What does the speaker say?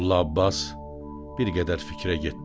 Molla Abbas bir qədər fikrə getdi.